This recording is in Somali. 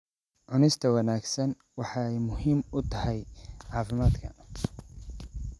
Cunista wanaagsan waxay muhiim u tahay caafimaadka.